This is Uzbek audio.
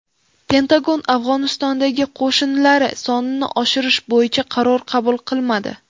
Pentagon Afg‘onistondagi qo‘shinlari sonini oshirish bo‘yicha qaror qabul qilmadi.